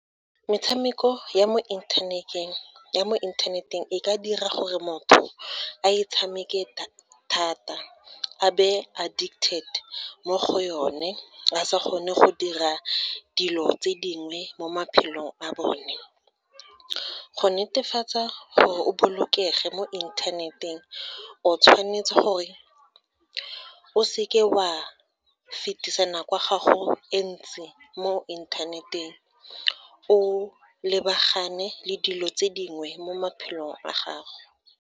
Metshameko ya mo inthaneteng e ka dira gore motho a e tshameke thata, a be addicted mo go one, a sa kgone go dira dilo tse dingwe mo maphelong a bone. Go netefatsa gore o bolokege mo inthaneteng, o tshwanetse gore o seke wa fetisa nako ya gago e ntsi mo inthaneteng, o lebagane le dilo tse dingwe mo maphelong a gago.